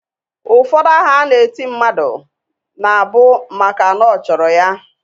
Ụfọdụ aha a na-eti mmadụ na bu maka na ọ chọrọ ya.